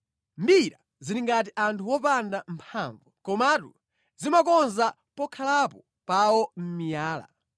mbira zili ngati anthu opanda mphamvu komatu zimakonza pokhalapo pawo mʼmiyala;